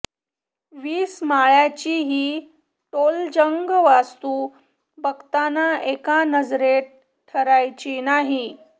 वीस माळ्याची ही टोलेजंग वास्तु बघताना एका नजरेत ठरायची नाही